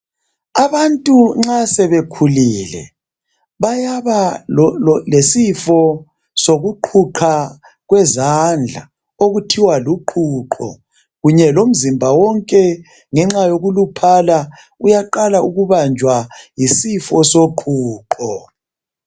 Abantu nxa sebekhulile, bayaba lesifo sokuqhuqha kwezandla okuthiwa luqhuqho. Kunye lomzimba wonke ngenxa yokuluphala uyaqala ukubanjwa yisifo soqhuqho.